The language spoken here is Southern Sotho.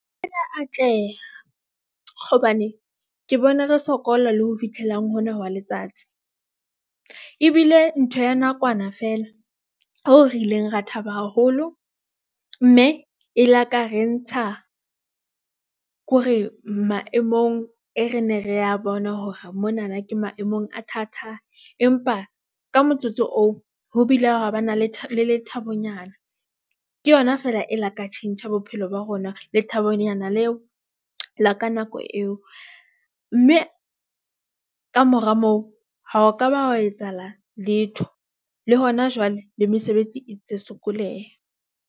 Atleha hobane ke bona re sokola le ho fitlhelang hona wa letsatsi. Ebile ntho ya nakwana feela hoo re ileng ra thaba haholo mme e la ka re ntsha kore maemong e, re ne re ya bona hore monana ke maemong a thata. Empa ka motsotso oo ho bile hwa ba na le lethabonyana. Ke yona fela e la ka tjhentjha bophelo ba rona lethabonyana leo la ka nako eo mme kamora moo ha o ka ba hwa. Etsahala letho le hona jwale le mesebetsi e tse sokoleha.